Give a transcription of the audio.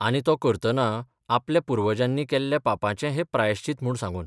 आनी तो करतना आपल्या पुर्वजांनी केल्ल्या पापाचें हें प्रायश्चित म्हूण सांगून.